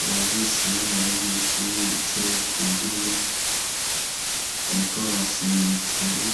Abanyeshure bari mw' ishure bambay' umwambar' ubaranga bicaye ku ntebe, bariko barasom' ibitabo,